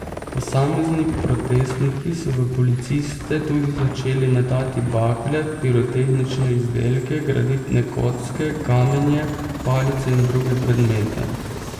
Posamezni protestniki so v policiste tudi začeli metati bakle, pirotehnične izdelke, granitne kocke, kamenje, palice in druge predmete.